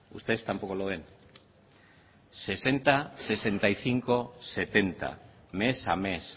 ustedes tampoco lo ven sesenta sesenta y cinco setenta mes a mes